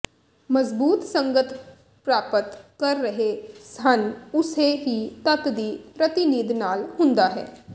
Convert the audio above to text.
ਮਜ਼ਬੂਤ ਸੰਗਤ ਪ੍ਰਾਪਤ ਕਰ ਰਹੇ ਹਨ ਉਸੇ ਹੀ ਤੱਤ ਦੀ ਪ੍ਰਤੀਨਿਧ ਨਾਲ ਹੁੰਦਾ ਹੈ